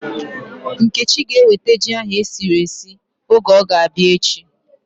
Nkechi ga eweta ji ahu esiri esi oge ọ ga-abịa echi